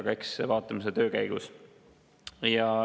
Aga eks vaatame seda töö käigus.